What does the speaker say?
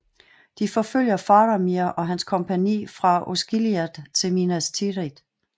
De forfølger Faramir og hans kompagni fra Osgiliath til Minas Tirith